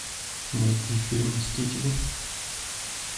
найти фильм мстители